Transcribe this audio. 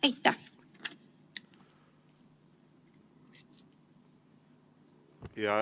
Aitäh!